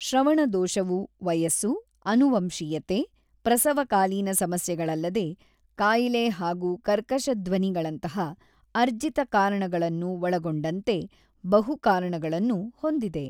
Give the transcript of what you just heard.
ಶ್ರವಣದೋಷವು ವಯಸ್ಸು, ಅನುವಂಶೀಯತೆ, ಪ್ರಸವಕಾಲೀನ ಸಮಸ್ಯೆಗಳಲ್ಲದೇ ಕಾಯಿಲೆ ಹಾಗೂ ಕರ್ಕಶಧ್ವನಿಗಳಂತಹ ಅರ್ಜಿತ ಕಾರಣಗಳನ್ನು ಒಳಗೊಂಡಂತೆ ಬಹು ಕಾರಣಗಳನ್ನು ಹೊಂದಿದೆ.